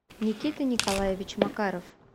никита николаевич макаров